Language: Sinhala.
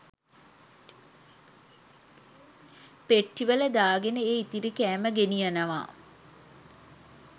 පෙට්ටිවල දාගෙන ඒ ඉතිරි කෑම ගෙනියනවා.